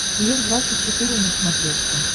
мир двадцать четыре на смотрешке